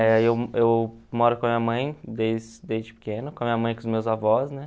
Eh eu eu moro com a minha mãe des desde pequeno, com a minha mãe e com os meus avós, né?